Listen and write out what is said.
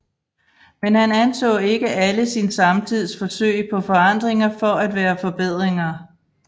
Men han anså ikke alle sin samtids forsøg på forandringer for at være forbedringer